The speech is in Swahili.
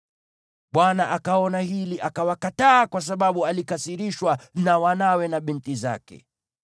Bwana akaona hili, akawakataa, kwa sababu alikasirishwa na wanawe na binti zake.